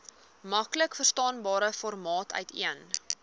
maklikverstaanbare formaat uiteen